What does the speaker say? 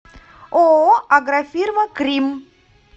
ооо агрофирма кримм